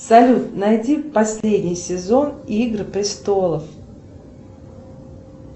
салют найди последний сезон игры престолов